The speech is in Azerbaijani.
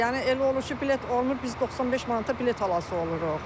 Yəni elə olur ki, bilet olmur, biz 95 manata bilet alası oluruq.